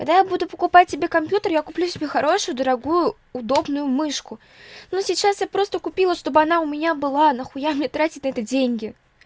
когда я буду покупать себе компьютер я куплю себе хорошую дорогую удобную мышку но сейчас я просто купила чтобы она у меня была нахуя мне тратить на это деньги